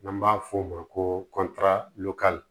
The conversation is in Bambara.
N'an b'a f'o ma ko kɔtɛri